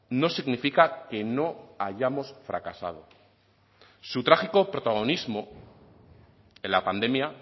no significa que no hayamos fracasado su trágico protagonismo en la pandemia